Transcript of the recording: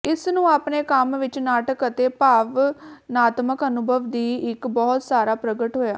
ਇਸ ਨੂੰ ਆਪਣੇ ਕੰਮ ਵਿੱਚ ਨਾਟਕ ਅਤੇ ਭਾਵਨਾਤਮਕ ਅਨੁਭਵ ਦੀ ਇੱਕ ਬਹੁਤ ਸਾਰਾ ਪ੍ਰਗਟ ਹੋਇਆ